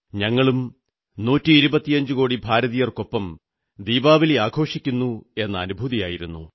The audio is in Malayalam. ഞങ്ങളും നൂറ്റിയിരുപത്തിയഞ്ചുകോടി ഭാരതീയർക്കൊപ്പം ദീപാവലി ആഘോഷിക്കുന്നുവെന്ന അനുഭൂതിയായിരുന്നു